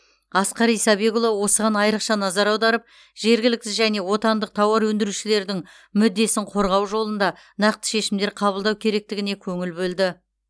асқар исабекұлы осыған айрықша назар аударып жергілікті және отандық тауар өндірушілердің мүддесін қорғау жолында нақты шешімдер қабылдау керектігіне көңіл бөлді